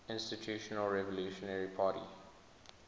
institutional revolutionary party